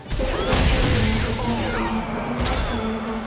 Biz ulardan, ular bizdan o‘rganadigan narsalar bor.